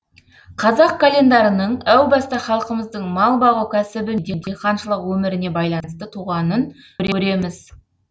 қазақ календарының әу баста халқымыздың мал бағу кәсібі мен диқаншылық өміріне байланысты туғанын көреміз